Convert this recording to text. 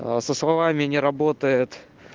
аа со словами не работает